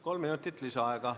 Kolm minutit lisaaega.